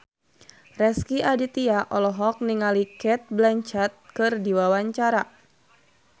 Rezky Aditya olohok ningali Cate Blanchett keur diwawancara